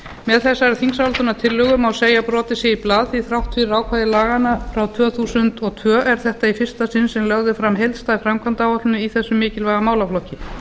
með þessari þingsályktunartillögu má segja að brotið sé í blað því þrátt fyrir ákvæði laganna frá tvö þúsund og tvö er þetta í fyrsta sinn sem lögð er fram heildstæð framkvæmdaáætlun í þessum mikilvæga málaflokki